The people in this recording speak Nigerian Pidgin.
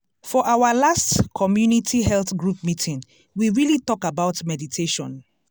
for our last community health group meeting we really talk about meditation.